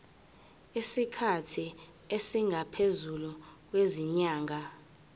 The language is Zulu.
isikhathi esingaphezulu kwezinyanga